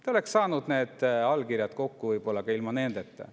Te oleks saanud need allkirjad kokku võib-olla ka ilma nendeta.